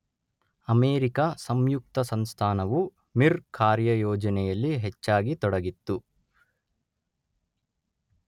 America ಸಂಯುಕ್ತ ಸಂಸ್ಥಾನವು Mir ಕಾರ್ಯಯೋಜನೆಯಲ್ಲಿ ಹೆಚ್ಚಾಗಿ ತೊಡಗಿತ್ತು.